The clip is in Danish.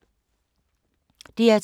DR2